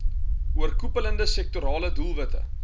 oorkoepelende sektorale doelwitte